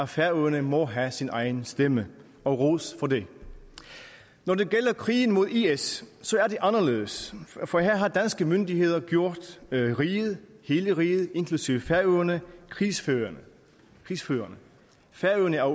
færøerne må have sin egen stemme og ros for det når det gælder krigen mod is er det anderledes for her har danske myndigheder gjort riget hele riget inklusive færøerne krigsførende krigsførende færøerne er